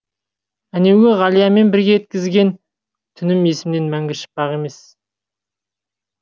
әнеугі ғалиямен бірге еткізген түнім есімнен мәңгі шықпақ емес